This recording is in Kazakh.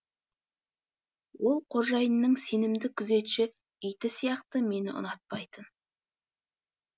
ол қожайынның сенімді күзетші иті сияқты мені ұнатпайтын